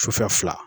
Sufɛ fila